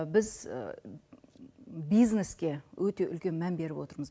біз бизнеске өте үлкен мән беріп отырмыз